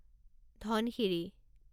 Dhansiri